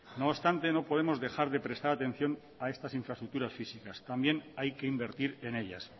no obstante no podemos dejar de prestar atención a estas infraestructuras físicas también hay que invertir en ellas